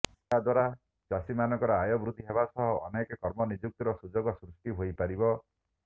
ଏହା ଦ୍ୱାରା ଚାଷୀମାନଙ୍କର ଆୟ ବୃଦ୍ଧି ହେବା ସହ ଅନେକ କର୍ମ ନିଯୁକ୍ତିର ସୁଯୋଗ ସୃଷ୍ଟି ହୋଇପାରିବ